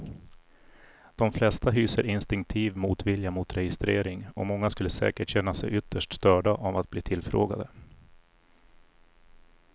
De flesta hyser instinktiv motvilja mot registrering och många skulle säkert känna sig ytterst störda av att bli tillfrågade.